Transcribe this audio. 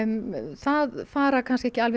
það fara kannski ekki